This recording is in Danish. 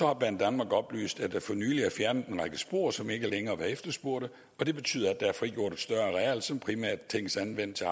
har banedanmark oplyst at der for nylig er fjernet en række spor som ikke længere er efterspurgt og det betyder at der er frigjort et større areal som primært tænkes anvendt til